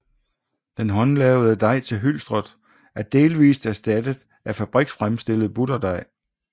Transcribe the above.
Den håndlavede dej til hylstret er delvist erstattet af fabriksfremstillet butterdej